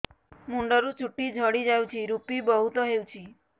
ମୁଣ୍ଡରୁ ଚୁଟି ଝଡି ଯାଉଛି ଋପି ବହୁତ ହେଉଛି